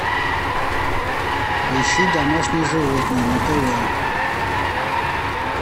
поищи домашние животные на тв